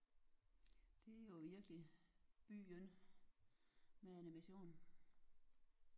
Det er jo virkelig byen med animation